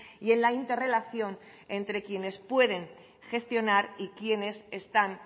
y en la interrelación entre quienes pueden gestionar y quienes están